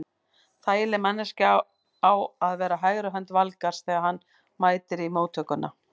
Þægileg manneskja á að vera hægri hönd Valgarðs þegar hann mætir í móttökuna.